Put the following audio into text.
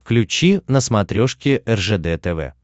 включи на смотрешке ржд тв